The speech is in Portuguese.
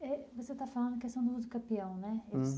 E você está falando da questão do usucapião, né?